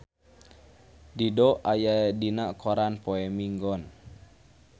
Dido aya dina koran poe Minggon